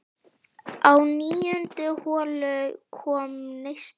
Á níundu holu kom neisti.